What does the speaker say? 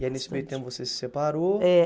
E aí nesse meio tempo você se separou. É